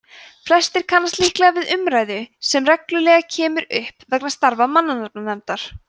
flestir kannast líklega við umræðu sem reglulega kemur upp vegna starfa mannanafnanefndar